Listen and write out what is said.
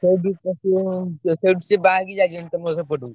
ସେଇଠୁ ସେଇଠୁ ସିଏ ବାହା ହେଇକି ଯାଇଛନ୍ତି ତମ ସେପଟକୁ।